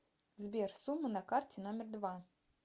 сбер сумма на карте номер два